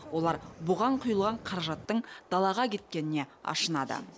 олар бұған құйылған қаражатттың далаға кеткеніне ашынады